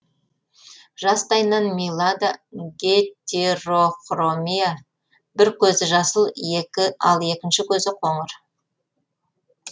жастайынан милада гетерохромия бір көзі жасыл ал екінші көзі қоңыр